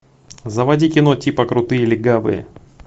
заводи кино типа крутые легавые